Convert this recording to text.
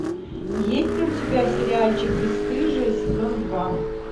есть ли у тебя сериальчик бесстыжие сезон два